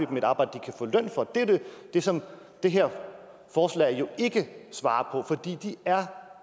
dem et arbejde de kan få løn for det er det som det her forslag jo ikke svarer på fordi de er